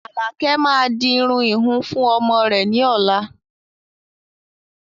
Alakẹ máa di irun ìhun fún ọmọ rẹ ni ọ̀la